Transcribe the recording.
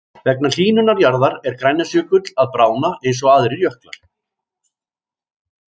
Vegna hlýnunar jarðar er Grænlandsjökull að bráðna eins og aðrir jöklar.